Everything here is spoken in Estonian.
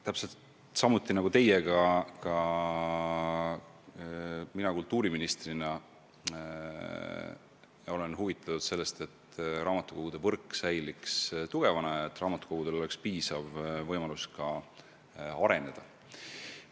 Täpselt samuti nagu teie olen ka mina kultuuriministrina huvitatud sellest, et raamatukogude võrk säiliks tugevana ja raamatukogudel oleks piisav võimalus areneda.